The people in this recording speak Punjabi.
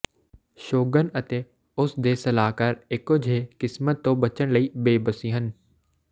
ਸ਼ੋਗਨ ਅਤੇ ਉਸ ਦੇ ਸਲਾਹਕਾਰ ਇੱਕੋ ਜਿਹੇ ਕਿਸਮਤ ਤੋਂ ਬਚਣ ਲਈ ਬੇਬਸੀ ਸਨ